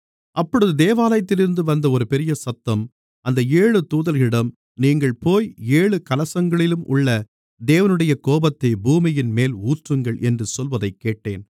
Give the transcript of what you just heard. அப்பொழுது தேவாலயத்திலிருந்து வந்த ஒரு பெரியசத்தம் அந்த ஏழு தூதர்களிடம் நீங்கள் போய் ஏழு கலசங்களிலும் உள்ள தேவனுடைய கோபத்தை பூமியின்மேல் ஊற்றுங்கள் என்று சொல்வதைக்கேட்டேன்